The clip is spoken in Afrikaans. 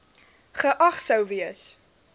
geag sou gewees